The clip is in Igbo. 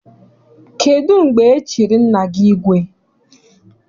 Kedụ mgbe e chiri nna gị igwe?